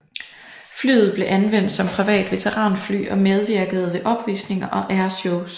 Flyet blev anvendt som privat veteranfly og medvirkede ved opvisninger og airshows